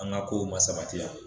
An ka ko ma sabatiya.